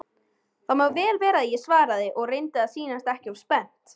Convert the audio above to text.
Það má vel vera svaraði ég og reyndi að sýnast ekki of spennt.